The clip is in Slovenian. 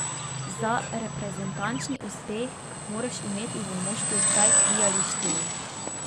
Za reprezentančni uspeh moraš imeti v moštvu vsaj tri ali štiri.